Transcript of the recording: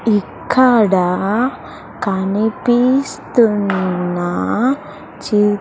ఇక్కడ కనిపిస్తున్న చి--